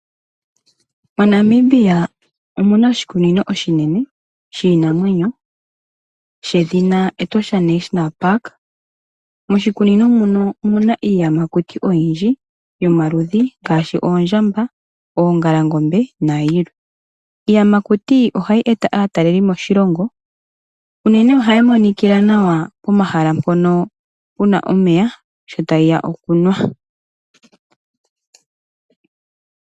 MoNamibia omuna oshikunino oshinene shiinamwenyo shedhina Etosha National Park. Moshikunino muno omuna iiyamakuti oyindji yomaludhi ngaashi oondjamba, oongalangombe nayilwe. Iiyamakuti ohayi eta aatalelipo moshilongo unene ohayi monikila nawa pomahala mpono puna omeya, sho tayi ya okunwa.